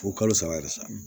Fo kalo saba yɛrɛ sa